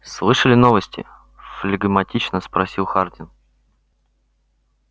слышали новости флегматично спросил хардин